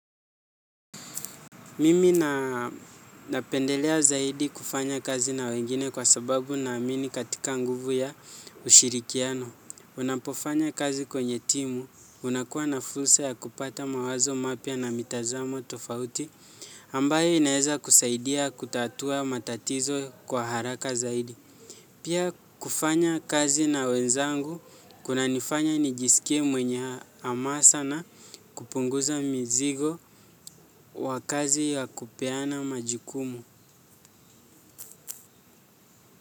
Mimi napendelea zaidi kufanya kazi na wengine kwa sababu naamini katika nguvu ya ushirikiano. Unapofanya kazi kwenye timu, unakuwa na fursa ya kupata mawazo mapya na mitazamo tofauti ambayo inayoweza kutatua matatizo kwa haraka zaidi. Pia kufanya kazi na wenzangu kunanifanya nijisikie mwenye hamasa na kupunguza mzigo wa kazi ya kupeana majukumu.